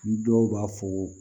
Ni dɔw b'a fɔ ko